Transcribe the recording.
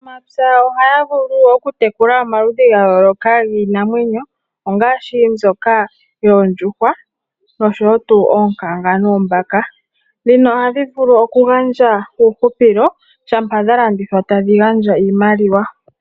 Aanamapya ohaya vulu okutekula omaludhi gayooloka giinamwenyo ongaashi mbyoka yoondjuhwa nosho wo tu oonkanga noombaka. Dhino ohadhi vulu okugandja uuhupilo shampa dha landithwa tadhi gandja iimaliwa.